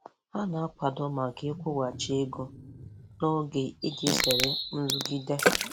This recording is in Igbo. Ha na-akwado maka ịkwụghachi ego n'oge iji zere nrụgide